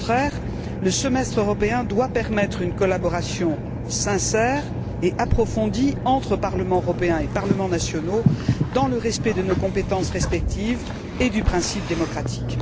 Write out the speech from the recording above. Au contraire, le semestre européen doit permettre une collaboration sincère et approfondie entre Parlement européen et parlements nationaux, dans le respect de nos compétences respectives et du principe démocratique.